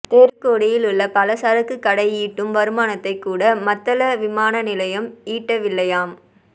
தெருக் கோடியில் உள்ள பலசரக்குக் கடை ஈட்டும் வருமானத்தைக் கூட மத்தள விமான நிலையம் ஈட்டவில்லையாம்